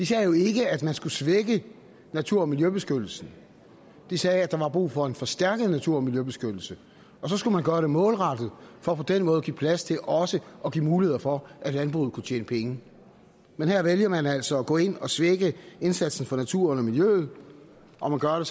sagde jo ikke at man skulle svække natur og miljøbeskyttelsen de sagde at der var brug for en forstærket natur og miljøbeskyttelse og så skulle man gøre det målrettet for på den måde at give plads til også at give muligheder for at landbruget kunne tjene penge men her vælger man altså at gå ind og svække indsatsen for naturen og miljøet og man gør